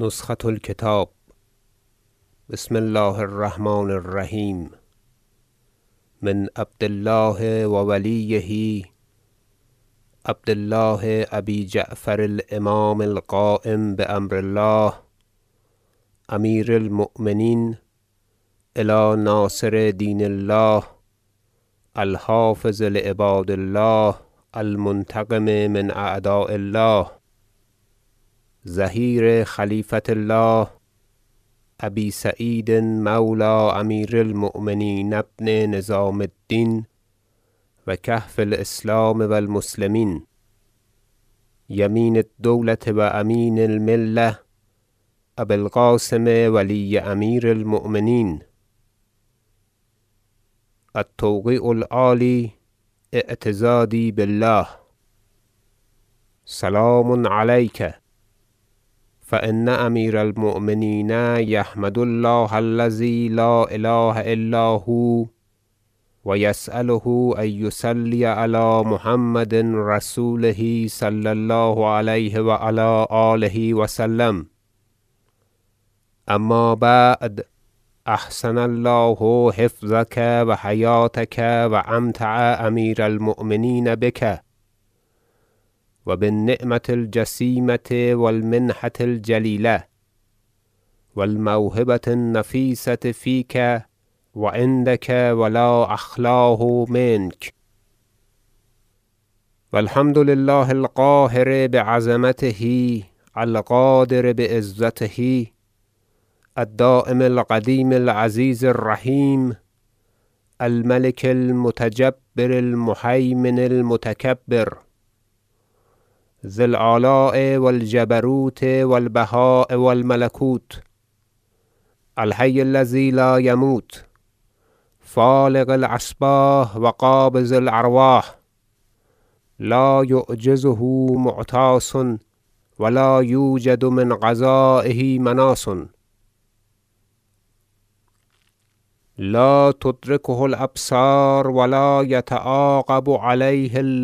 نسخة الکتاب بسم الله الرحمن الرحیم من عبد الله و ولیه عبد الله ابی جعفر الامام القایم بامر الله امیر المؤمنین الی ناصر دین الله الحافظ لعباد الله المنتقم من اعداء الله ظهیر خلیفة الله ابی سعید مولی امیر المؤمنین ابن نظام الدین و کهف الاسلام و المسلمین یمین الدولة و امین الملة ابی القاسم ولی امیر المؤمنین- التوقیع العالی اعتضادی بالله- سلام علیک فان امیر المؤمنین یحمد الیک الله الذی لا اله الا هو و یسأله ان یصلی علی محمد رسوله صلی الله علیه و علی آله و سلم اما بعد احسن الله حفظک و حیاطتک و أمتع امیر المؤمنین بک و بالنعمة الجسیمة و المنحة الجلیلة و الموهبة النفیسة فیک و عندک و لا اخلاه منک و الحمد لله القاهر بعظمته القادر بعزته الدایم القدیم العزیز الرحیم الملک المتجبر المهیمن المتکبر ذی الآلاء و الجبروت و البهاء و الملکوت الحی الذی لا یموت فالق الأصباح و قابض الارواح لایعجزه معتاص و لا یوجد من قضایه مناص لا تدرکه الأبصار و لا یتعاقب علیه